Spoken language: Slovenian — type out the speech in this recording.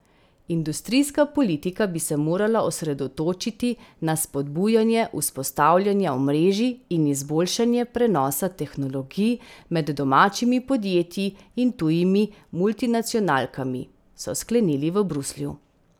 Industrijska politika bi se morala osredotočiti na spodbujanje vzpostavljanja omrežij in izboljšanje prenosa tehnologij med domačimi podjetji in tujimi multinacionalkami, so sklenili v Bruslju.